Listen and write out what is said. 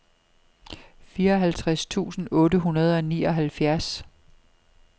fireoghalvtreds tusind otte hundrede og nioghalvfjerds